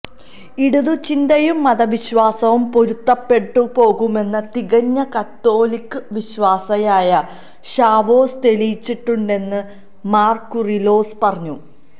ഇടതുചിന്തയും മതവിശ്വാസവും പൊരുത്തപ്പെട്ടുപോകുമെന്ന് തികഞ്ഞ കത്തോലിക്കാ വിശ്വാസിയായ ഷാവോസ് തെളിയിച്ചിട്ടുണ്ടെന്നും മാര് കൂറിലോസ് പറഞ്ഞു